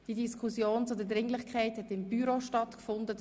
Die Diskussion über die Dringlichkeit hat im Büro stattgefunden.